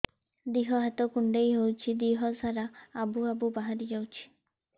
ଦିହ ହାତ କୁଣ୍ଡେଇ ହଉଛି ଦିହ ସାରା ଆବୁ ଆବୁ ବାହାରି ଯାଉଛି